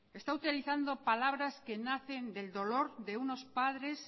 está utilizando palabras que nacen del dolor de unos padres